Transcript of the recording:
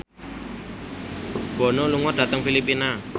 Bono lunga dhateng Filipina